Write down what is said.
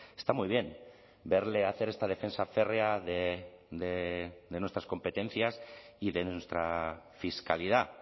está muy bien verle hacer esta defensa férrea de nuestras competencias y de nuestra fiscalidad